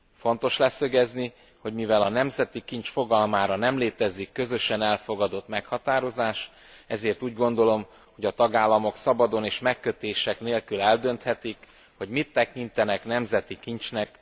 Fontos leszögezni, hogy mivel a nemzeti kincs fogalmára nem létezik közösen elfogadott meghatározás, úgy gondolom, hogy a tagállamok szabadon és megkötések nélkül eldönthetik, hogy mit tekintenek nemzeti kincsnek.